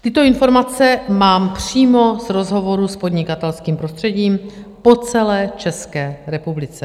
Tyto informace mám přímo z rozhovorů s podnikatelským prostředím po celé České republice.